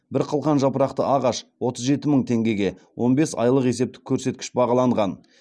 бір қылқан жапырақты ағаш отыз жеті мың теңгеге он бес айлық есептік көрсеткіш бағаланған